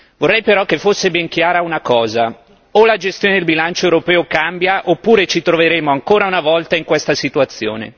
Vorrei però che fosse ben chiara una cosa o la gestione del bilancio europeo cambia oppure ci troveremo ancora una volta in questa situazione.